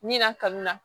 Mina kanu na